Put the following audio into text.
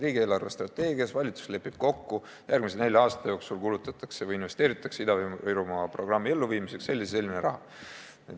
Riigi eelarvestrateegias lepib valitsus kokku, et järgmise nelja aasta jooksul kulutatakse või investeeritakse Ida-Virumaa programmi elluviimiseks selline ja selline raha.